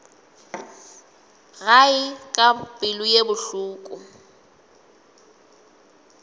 gae ka pelo ye bohloko